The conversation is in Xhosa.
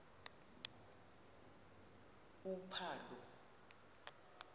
uphalo